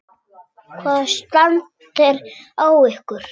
Hvaða stand er á ykkur?